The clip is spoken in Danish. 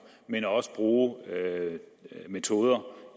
men også bruge metoder